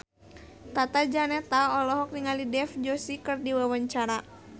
Tata Janeta olohok ningali Dev Joshi keur diwawancara